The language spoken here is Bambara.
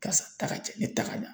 Karisa ta ka cɛn ne ta ka ɲa